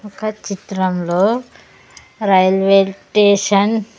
ఒక చిత్రంలో railway station .